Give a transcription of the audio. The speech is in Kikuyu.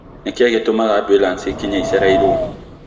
Nĩkĩĩ gĩtũmaga ambulanĩcĩ ĩkinye ĩcereirwo